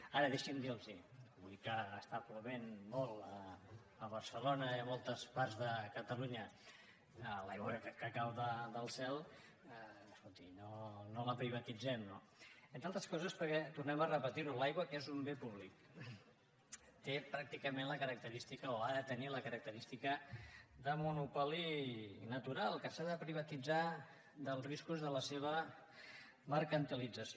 ara deixin me dir los avui que està plovent molt a barcelona i a moltes parts de catalunya l’aigua que cau del cel escolti no la privatitzem no entre altres coses perquè tornem a repetir ho l’aigua que és un bé públic té pràcticament la característica o ha de tenir la característica de monopoli natural que s’ha de privar dels riscos de la seva mercantilització